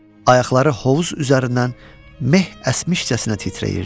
Ayaqları hovuz üzərindən meh əsmişcəsinə titrəyirdi.